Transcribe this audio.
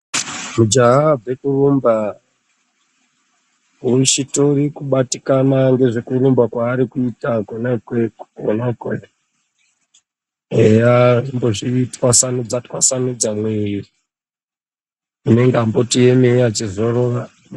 Mujaha wabva kurumba uchitori kubatikana ngezvekurumba kwaari kuita kwona ikweyo unenge eyaaa achimbozvitwasanudza mwiri unenge achimboti emeyi achizorora.